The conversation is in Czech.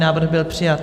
Návrh byl přijat.